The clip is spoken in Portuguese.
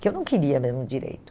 que eu não queria mesmo direito.